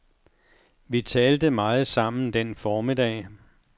Vi talte meget sammen den formiddag.